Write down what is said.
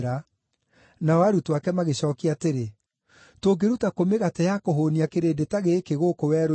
Nao arutwo ake magĩcookia atĩrĩ, “Tũngĩruta kũ mĩgate ya kũhũũnia kĩrĩndĩ ta gĩkĩ, gũkũ werũ-inĩ?”